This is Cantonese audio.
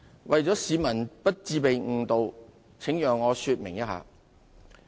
為了市民不致被誤導，請讓我稍作說明。